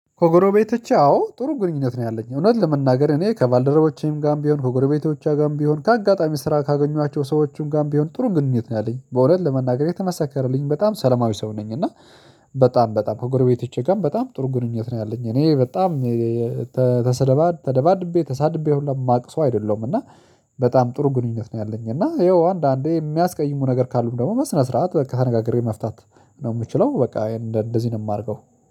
ከጎረቤቶቼ አዎ ጥሩ ግንኙነት ነው ያለኝ። እውነት ለመናገር እኔ ከባልደረቦቼም ጋርም፣ ቢሆን ከጎረቤቶቼም ጋም ቢሆን፣ ከአጋጣሚ ስራ ካገኟቸው ሰዎችም ጋም ቢሆን፣ ጥሩ ግንኙነት ነው ያለኝ። በእውነት ለመናገር የተመሰከረልኝ በጣም ሰለማዊ ሰው ነኝ። እና በጣም በጣም ከጎረቤትቼ ጋር በጣም ጥሩ ግንኙነት ነው ያለኝ። እኔ በጣም ተሰደባድ ተደባድቤ ተሳድቤ ሁሉ የማቅሰው አይደለም። እና በጣም ጥሩ ግንኙነት ነው ያለኝ። እና ይኸው አንዳንዴ የሚያስቀይሙ ነገር ካሉም ደግሞ በስነ ስርዓት በቃ ተነጋግሬ መፍታት ነው የምችለው በቃ ይሄን እንደዚህ ነው የማደርገው።